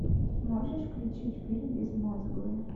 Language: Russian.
можешь включить фильм безмозглые